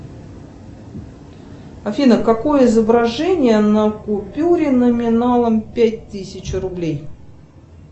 афина какое изображение на купюре номиналом пять тысяч рублей